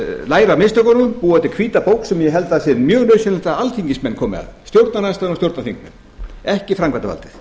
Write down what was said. læra af mistökunum búa til hvíta bók sem ég held að sé mjög nauðsynlegt að alþingismenn komi að stjórnarandstaðan og stjórnarþingmenn ekki framkvæmdarvaldið